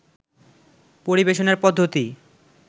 পরিবেশনার পদ্ধতি